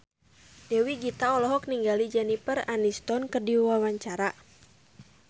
Dewi Gita olohok ningali Jennifer Aniston keur diwawancara